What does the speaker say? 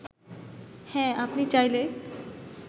হ্যাঁ আপনি চাইলে